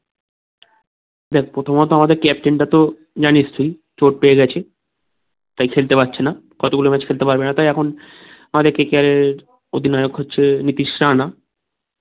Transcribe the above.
দেখ প্রথমত আমাদের captain টা তো জানিস তুই চোট পেয়ে গেছে তাই খেলতে পারছে না কত গুলো match খেলতে পারবে না হয়তো এখন আমাদের KKR এর অধিনায়ক হচ্ছে নীতিশ রানা